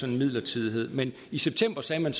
en midlertidighed men i september sagde man